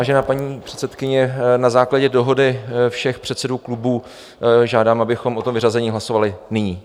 Vážená paní předsedkyně, na základě dohody všech předsedů klubů žádám, abychom o tom vyřazení hlasovali nyní.